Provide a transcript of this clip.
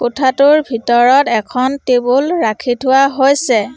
কোঠাটোৰ ভিতৰত এখন টেবুল ৰাখি থোৱা হৈছে।